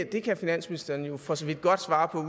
det kan finansministeren jo for så vidt godt svare på